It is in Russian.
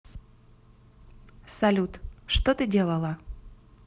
салют что ты делала